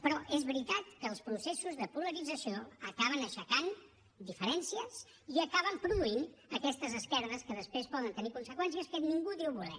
però és veritat que els processos de polarització acaben aixecant diferències i acaben produint aquestes esquerdes que després poden tenir conseqüències que ningú diu voler